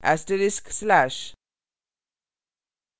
*/